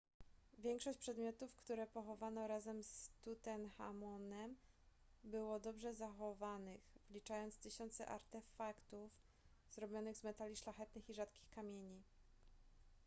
większość przedmiotów które pochowano razem z tutenchamonem było dobrze zachowanych wliczając tysiące artefaktów zrobionych z metali szlachetnych i rzadkich kamieni